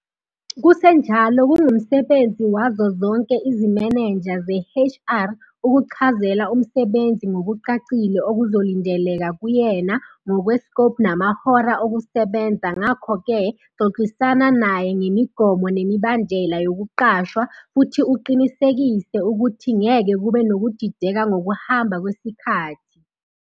Kusenjalo kungumsebenzi wazo zonke izimenenja ze-HR ukuchazela umsebenzi ngokucacile okuzolindeleka kuyena ngokwe-scope namahora okusebenza ngakho ke xoxisana naye ngemigomo nemibandela yokuqashwa futhi uqinisekise ukuthi ngeke kube nokudideka ngokuhamba kwesikhathi.